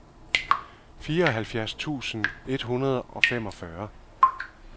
fireoghalvfjerds tusind et hundrede og femogfyrre